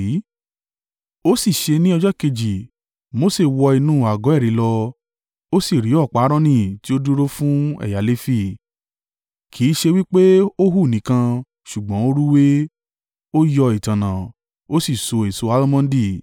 Ó sì ṣe ní ọjọ́ kejì Mose wọ inú àgọ́ ẹ̀rí lọ, ó sì rí ọ̀pá Aaroni, tí ó dúró fún ẹ̀yà Lefi, kì í ṣe wí pé ó hù nìkan, ṣùgbọ́n ó rúwé, ó yọ ìtànná, ó sì so èso almondi.